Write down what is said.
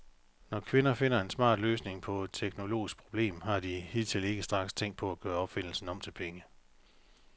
Når kvinder finder en smart løsning på et teknologisk problem, har de hidtil ikke straks tænkt på at gøre opfindelsen om til penge.